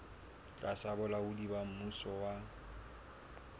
tlasa bolaodi ba mmuso wa